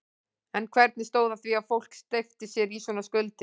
En hvernig stóð á því að fólk steypti sér í svona skuldir?